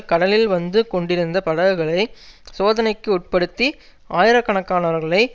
கடலில் வந்து கொண்டிருந்த படகுகளை சோதனைக்கு உட்படுத்தி ஆயிரக்கணக்கானவர்களை